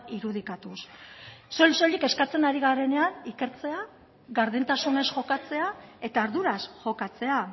irudikatuz soil soilik eskatzen ari garenean ikertzea gardentasunez jokatzea eta arduraz jokatzea